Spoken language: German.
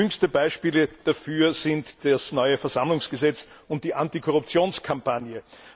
Jüngste Beispiele dafür sind das neue Versammlungsgesetz und die Antikorruptionskampagne.